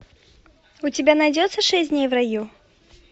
у тебя найдется шесть дней в раю